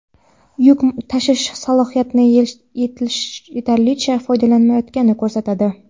yuk tashish salohiyatidan yetarlicha foydalanilmayotganini ko‘rsatadi.